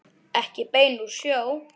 Ekki bein úr sjó.